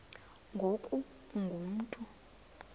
ngoku ungu mntu